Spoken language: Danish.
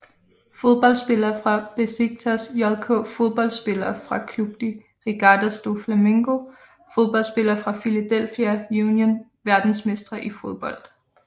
Fodboldspillere fra Beşiktaş JK Fodboldspillere fra Clube de Regatas do Flamengo Fodboldspillere fra Philadelphia Union Verdensmestre i fodbold